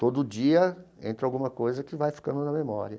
Todo dia entra alguma coisa que vai ficando na memória.